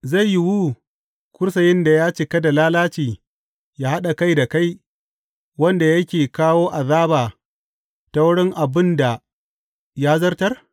Zai yiwu kursiyin da ya cika da lalaci yă haɗa kai da kai, wanda yake kawo azaba ta wurin abin da ya zartar?